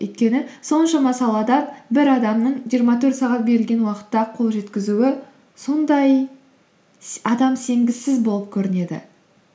өйткені соншама салада бір адамның жиырма төрт сағат берілген уақытта қол жеткізуі сондай адам сенгісіз болып көрінеді